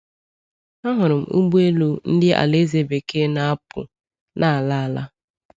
Ahụrụ m ụgbọ elu ndị Alaeze Bekee na-apụ n’ala ala.